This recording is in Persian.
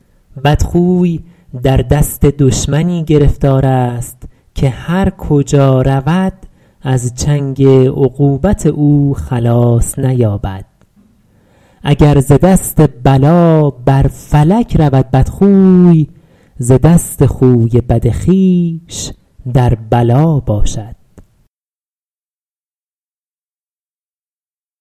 بدخوی در دست دشمنی گرفتار است که هر کجا رود از چنگ عقوبت او خلاص نیابد اگر ز دست بلا بر فلک رود بدخوی ز دست خوی بد خویش در بلا باشد